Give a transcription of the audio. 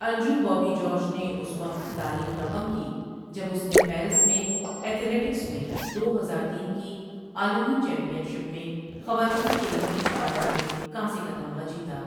انجو بوبی جارج نے اس وقت تاریخ رقم کی جب اس نے پیرس میں ایتھلیٹکس میں دو ہزار تین کی عالمی چیمپئن شپ میں خواتین کی لمبی چھلانگ میں کانسی کا تمغہ جیتا۔